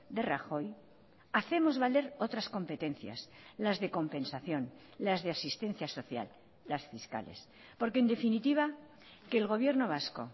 de rajoy hacemos valer otras competencias las de compensación las de asistencia social las fiscales porque en definitiva que el gobierno vasco